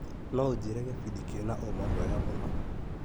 No unjĩre gĩbindi kĩna ũma mwega mũno .